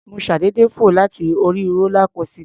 Mo ṣàdédé fò láti orí rólá kósità.